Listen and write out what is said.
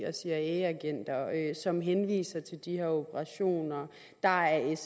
og cia agenter som henviser til de her operationer at der er